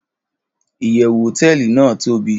iyewu hoteeli nàá tobi